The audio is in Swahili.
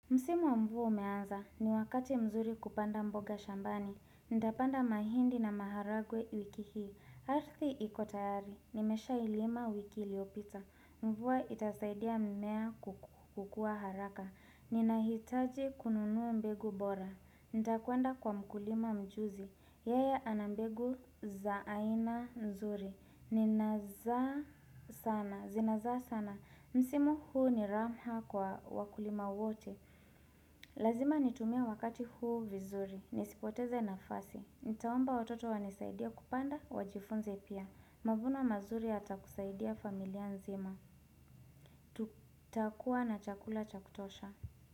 Msimu wa mvua umeanza, ni wakati mzuri kupanda mboga shambani. Nitapanda mahindi na maharagwe wiki hii. Ardhi iko tayari, nimeshailima wiki iliyopita. Mvua itasaidia mmea kukua haraka. Ninahitaji kununua mbegu bora. Nitakwenda kwa mkulima mjuzi. Yeye ana mbegu za aina nzuri. Ninazaa sana, zinazaa sana. Msimu huu ni rahma kwa wakulima wote. Lazima nitumie wakati huu vizuri. Nisipoteze nafasi. Nitaomba watoto wanisaidia kupanda, wajifunze pia. Mavuno mazuri yata kusaidia familia nzima. Takuwa na chakula cha kutosha.